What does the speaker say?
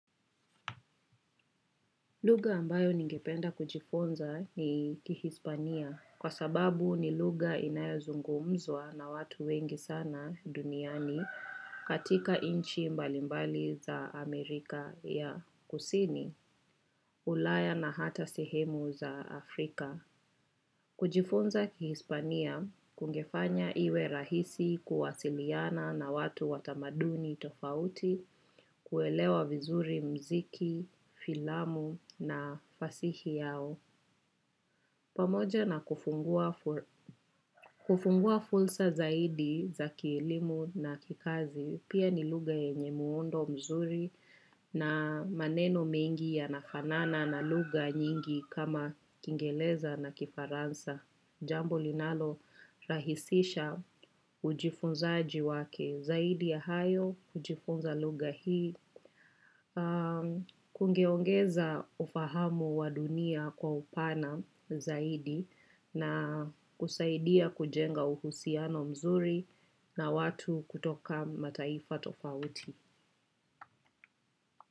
Lugha ambayo ningependa kujifunza ni kihispania kwa sababu ni lugha inayazungumzwa na watu wengi sana duniani katika inchi mbalimbali za Amerika ya kusini, ulaya na hata sehemu za Afrika. Kujifunza kihispania kungefanya iwe rahisi kuwasiliana na watu watamaduni tofauti kuelewa vizuri mziki, filamu na fasihi yao. Pamoja na kufungua fulsa zaidi za kielimu na kikazi pia ni lugha yenye muundo mzuri na maneno mengi yanafanana na lugha nyingi kama kingeleza na kifaransa. Jambo linalo rahisisha ujifunzaaji wake zaidi ya hayo, ujifunza lugha hii, kungeongeza ufahamu wa dunia kwa upana zaidi na kusaidia kujenga uhusiano mzuri na watu kutoka mataifa tofauti.